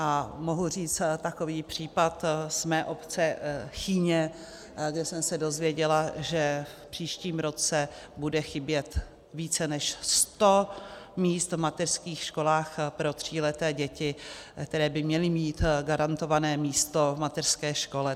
A mohu říct takový případ z mé obce Chýně, kde jsem se dozvěděla, že v příštím roce bude chybět více než sto míst v mateřských školách pro tříleté děti, které by měly mít garantované místo v mateřské škole.